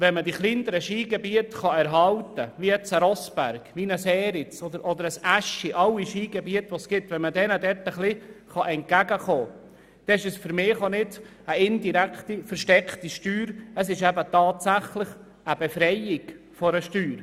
Wenn man die kleineren Skigebiete wie beispielsweise Rossberg, Eriz oder Aeschi erhalten und ihnen etwas entgegenkommen kann, dann ist das für mich keine indirekte oder versteckte, sondern eine tatsächliche Befreiung von einer Steuer.